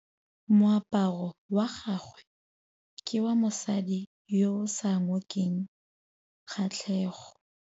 Moaparô wa gagwe ke wa mosadi yo o sa ngôkeng kgatlhegô.